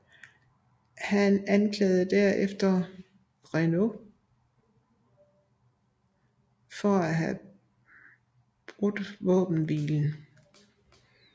Han anklagede derefter Renaud for at have brudt våbenhvilen